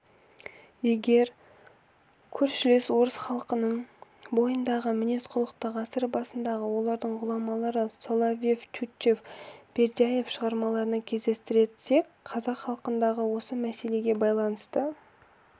егер көршілес орыс халқының бойындағы мінез-құлықты ғасыр басындағы олардың ғұламалары соловьев тютчев бердяев шығармаларынан кездестірсек қазақ халқындағы осы мәселеге байланысты